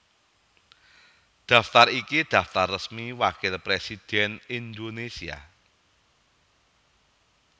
Daftar iki daftar resmi Wakil Presidhèn Indonésia